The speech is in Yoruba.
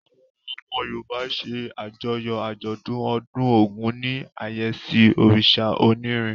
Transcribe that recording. Àwọn ọmọ Yorùbá ṣe àjọyọ̀ àjọ̀dún ọdún Ògún ní àyẹ́sí òrìṣà onírin.